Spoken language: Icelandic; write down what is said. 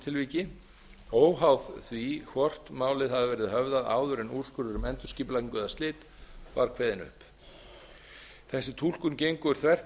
tilviki óháð því hvort málið hafi verið höfðað áður en úrskurður um endurskipulagningu eða slit var kveðinn upp þessi túlkun gengur þvert